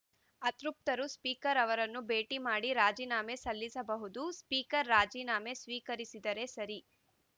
ಅತೃಪ್ತರು speaker ಅವರನ್ನು ಭೇಟಿ ಮಾಡಿ ರಾಜೀನಾಮೆ ಸಲ್ಲಿಸಬಹುದು ಸ್ಪೀಕರ್‌ ರಾಜೀನಾಮೆ ಸ್ವೀಕರಿಸಿದರೆ ಸರಿ